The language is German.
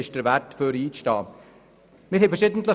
Sie ist es wert, dass wir für sie einstehen.